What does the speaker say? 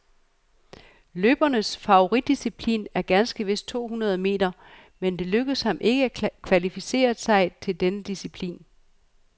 Løberens favoritdisciplin er ganske vist to hundrede meter, men det lykkedes ham ikke at kvalificere sig til denne disciplin.